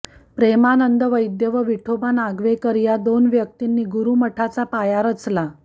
प्रेमानंद वैद्य व विठोबा नागवेकर या दोन व्यक्तींनी गुरुमठाचा पाया रचला